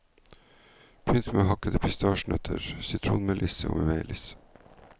Pynt med hakkede pistasjenøtter, sitronmelisse og melis.